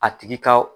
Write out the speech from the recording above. A tigi ka